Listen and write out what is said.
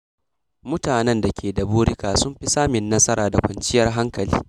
Mutanen da ke da burika sukan fi samun nasara da kwanciyar hankali.